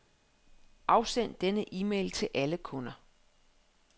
Afsend denne e-mail til alle kunder.